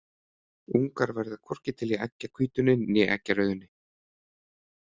Ungar verða hvorki til í eggjahvítunni né eggjarauðunni.